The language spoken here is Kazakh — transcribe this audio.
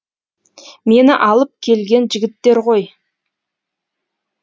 мені алып келген жігіттер ғой